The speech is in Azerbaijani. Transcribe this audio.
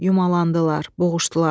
Yumalandılar, boğuşdular.